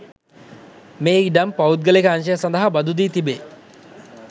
මේ ඉඩම් පෞද්ගලික අංශය සඳහා බදු දී තිබේ